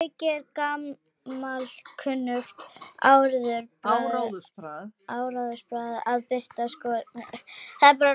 Að auki er gamalkunnugt áróðursbragð að birta skopmyndir af andstæðingnum.